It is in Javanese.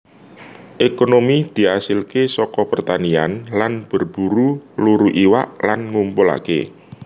Ekonomi diasilke saka pertanian lan berburu luru iwak lan ngumpulake